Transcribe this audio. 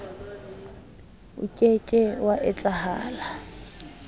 o ke ke wa etsahala